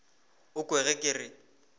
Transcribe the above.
o kwe ge ke re